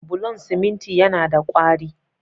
Bulon siminti yana da ƙwari.